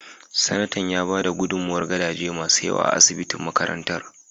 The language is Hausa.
Sanatan ya bada gudummawar gadaje masu yawa na asibitin makarantar.